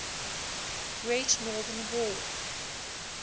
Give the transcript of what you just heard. great northern war